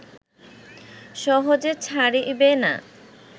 সহজে ছাড়িবে না